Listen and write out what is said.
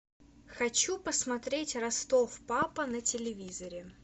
хочу посмотреть ростов папа на телевизоре